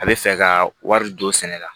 A bɛ fɛ ka wari don sɛnɛ la